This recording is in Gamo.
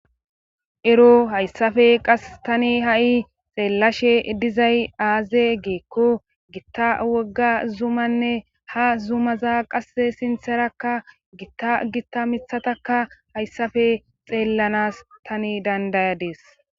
Ero hayssafe qas tani ha7i xeellashe dizay aaze geekko gitta wogga zumanne ha zumaza qasse sintherakka gitta gitta mithataka hayssafe xeellanas tani dandayadees.